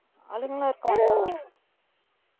ஆளுங்கலாம் இருப்பாங்க பா